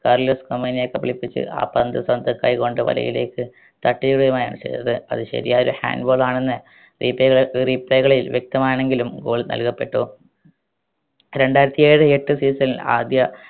Carlos ഒമൈനെ കബളിപ്പിച്ച് ആ പന്ത് സ്വന്തം കൈ കൊണ്ട് വലയിലേക്ക് തട്ടിയിടുകയുമാണ് ചെയ്തത് അത് ശരിയായൊരു hand ball ആണെന്ന് replay കൾ replay കളിൽ വ്യക്തമാണെങ്കിലും goal നൽകപ്പെട്ടു രണ്ടായിരത്തി ഏഴ് എട്ട് season ൽ ആദ്യ